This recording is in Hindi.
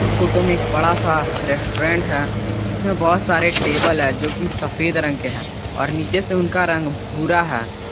इस फोटो में एक बड़ा सा रेस्टोरेंट है जिसमें बहुत सारे टेबल है जो की सफेद रंग के हैं और नीचे से उनका रंग भूरा है।